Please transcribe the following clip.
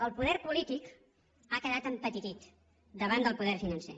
el poder polític ha quedat empetitit davant del poder financer